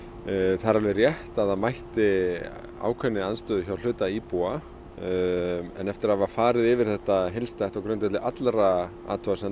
það er alveg rétt að það mætti ákveðinni andstöðu hjá hluta íbúa en eftir að hafa farið yfir þetta heildstætt á grundvelli allra athugasemda